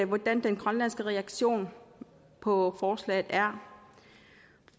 hvordan den grønlandske reaktion på forslaget er